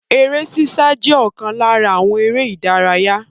Eré ṣíṣá je okan lara àwọn ère ìdárayá.